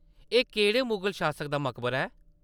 एह् केह्‌‌‌ड़े मुगल शासक दा मकबरा ऐ?